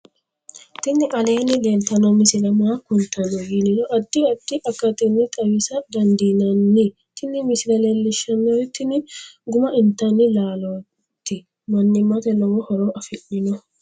tini aleenni leeltanno misile maa kultanno yiniro addi addi akatinni xawisa dandiinnanni tin misile leellishshannori tini guma intanni laalooti mannimate lowo horo afidhno